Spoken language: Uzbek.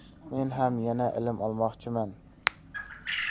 Men ham yana ilm olmoqchiman.